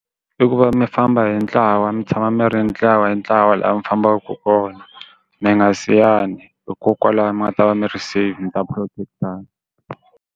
I ku va mi famba hi ntlawa mi tshama mi ri ntlawa hi ntlawa laha mi fambaka kona mi nga siyani hikokwalaho mi nga ta va mi ri save ta protect-tana.